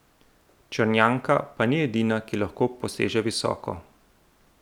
Črnjanka pa ni edina, ki lahko poseže visoko.